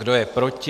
Kdo je proti?